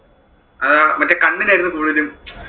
അഹ് മറ്റേ കണ്ണിനായിരുന്നു കുടുതലും.